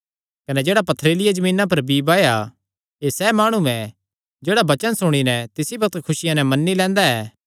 कने जेह्ड़ा पथरीलिया जमीना पर बीई बाया एह़ सैह़ माणु ऐ जेह्ड़ा वचन सुणी नैं तिसी बग्त खुसिया नैं मन्नी लैंदा ऐ